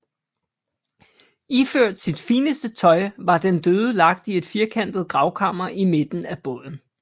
Iført sit fineste tøj var den døde lagt i et firkantet gravkammer i midten af båden